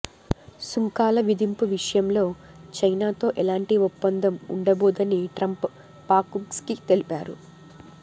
సుంకాల విధింపు విషయంలో చైనాతో ఎలాంటి ఒప్పందం ఉండబో దని ట్రంప్ ఫాక్స్న్యూస్కి తెలిపారు